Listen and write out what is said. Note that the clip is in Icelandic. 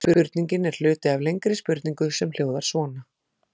Spurningin er hluti af lengri spurningu sem hljóðar svona: